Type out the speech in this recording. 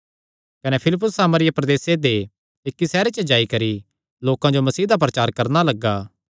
कने फिलिप्पुस सामरिया प्रदेसे दे इक्की सैहरे च जाई करी लोकां जो मसीह दा प्रचार करणा लग्गा